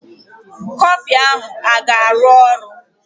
Kọflịn ahụ a ga-arụ ọrụ?